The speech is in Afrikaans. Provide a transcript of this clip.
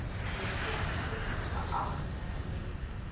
lisensie geag hernu